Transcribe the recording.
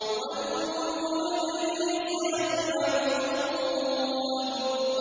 وَجُنُودُ إِبْلِيسَ أَجْمَعُونَ